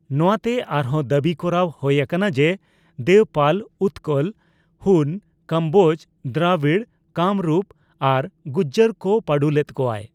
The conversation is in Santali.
ᱱᱚᱣᱟᱛᱮ ᱟᱨᱦᱚᱸ ᱫᱟᱹᱵᱤ ᱠᱚᱨᱟᱣ ᱦᱳᱭ ᱟᱠᱟᱱᱟ ᱡᱮ, ᱫᱮᱵᱯᱟᱞ ᱩᱛᱠᱚᱞ, ᱦᱩᱱ, ᱠᱚᱢᱵᱳᱡ, ᱫᱨᱟᱵᱤᱲ, ᱠᱟᱢᱨᱩᱯ ᱟᱨ ᱜᱩᱡᱡᱚᱨ ᱠᱚ ᱯᱟᱸᱰᱩ ᱞᱮᱫ ᱠᱚᱣᱟᱭ ᱾